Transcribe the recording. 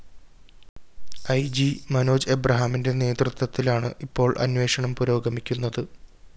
E G Manoj എബ്രഹാമിന്റെ നേതൃത്വത്തിലാണ് ഇപ്പോള്‍ അന്വേഷണം പുരോഗമിക്കുന്നത്